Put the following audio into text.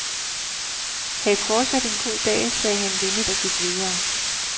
Hav fortsat en god dag, sagde han venligt og gik videre.